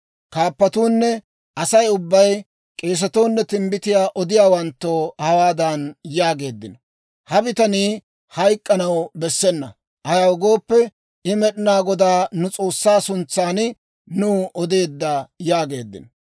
Kaappatuunne Asay ubbay k'eesatoo nne timbbitiyaa odiyaawanttoo hawaadan yaageeddino; «Ha bitanii hayk'k'anaw bessena! Ayaw gooppe, I Med'inaa Godaa nu S'oossaa suntsan nuw odeedda» yaageeddino.